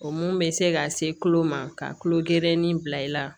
O mun bɛ se ka se tulo ma ka tulo gerenin bila i la